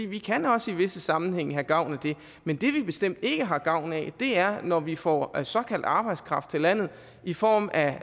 vi kan også i visse sammenhænge have gavn af det men det vi bestemt ikke har gavn af er når vi får såkaldt arbejdskraft til landet i form af